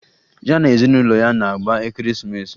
Ya na ezinụlọ ya na-agba Ekeresimeesi